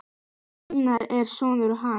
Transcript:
Einar, ég er sonur. hans.